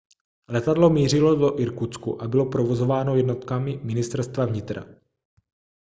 letadlo mířilo do irkutsku a bylo provozováno jednotkami ministerstva vnitra